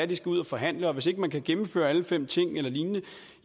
de skal ud og forhandle og hvis ikke man kan gennemføre alle fem ting eller lignende